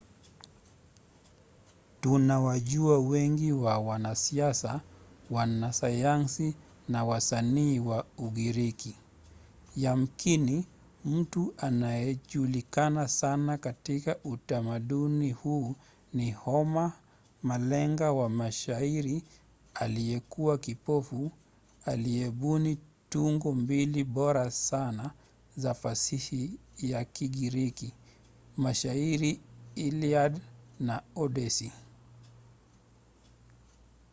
tunawajua wengi wa wanasiasa wanasayansi na wasanii wa ugiriki. yamkini mtu anayejulikana sana katika utamaduni huu ni homer malenga wa mashairi aliyekuwa kipofu aliyebuni tungo mbili bora sana za fasihi ya kigiriki: mashairi iliad na odyssey